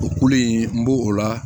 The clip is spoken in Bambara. O kule in n b'o o la